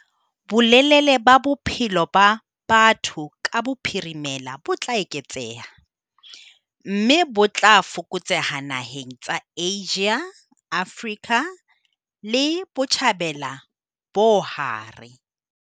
Bolelele ba bophelo ba batho ka bophirimela bo tla eketseha, mme bo tla fokotseha naheng tsa Asia, Afrika le Botjhabela bo hare.